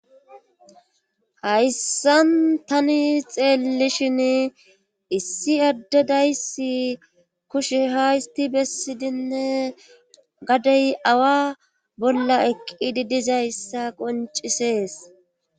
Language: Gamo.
hayssan tani xeellishin issi adde dayssi kushe hay histi bessidinne gadey awa bolla eqqidi dizayssa qoncisees